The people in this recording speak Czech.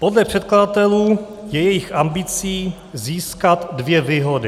Podle předkladatelů je jejich ambicí získat dvě výhody.